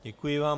Děkuji vám.